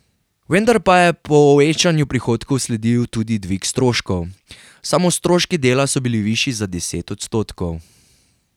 Vendar pa je povečanju prihodkov sledil tudi dvig stroškov, samo stroški dela so bili višji za deset odstotkov.